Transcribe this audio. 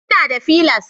Ina da fliers